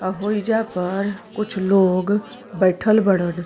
आ होइजा पर कुछ लोग बइठल बाड़न।